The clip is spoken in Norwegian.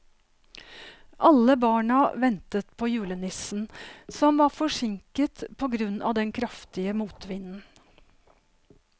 Alle barna ventet på julenissen, som var forsinket på grunn av den kraftige motvinden.